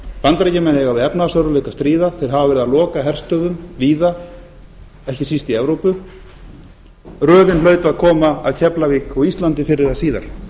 bandaríkjamenn eiga við efnahagsörðugleika að stríða þeir hafa verið að loka herstöðvum víða ekki síst í evrópu röðin hlaut að koma að keflavík og íslandi fyrr eða síðar